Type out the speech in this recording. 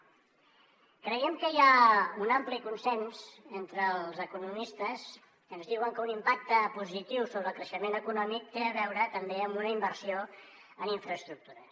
creiem que hi ha un ampli consens entre els economistes que ens diuen que un impacte positiu sobre el creixement econòmic té a veure també amb una inversió en infraestructures